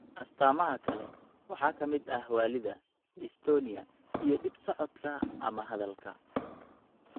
Astaamaha kale waxaa ka mid ah waallida, dystonia, iyo dhib socodka ama hadalka.